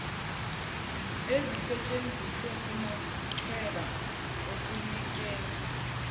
ezisentshenziswa kumachweba okunikezwa